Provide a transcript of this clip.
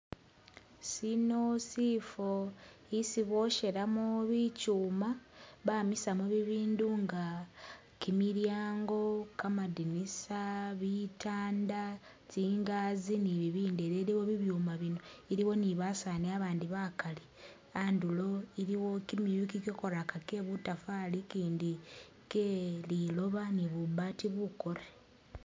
Sino sifo isi booshelamo bichuuma bamisamo bibindu nga kimilyango, kamadinisa, bitanda tsi'ngasi ni bibindi biliwo bibyuma bino, iliwo ni basaani babandi bakali a'ndulo iliwo kimiyu kikyakoraka kye butafali i'kindi kye lilooba ni bubaati bukoore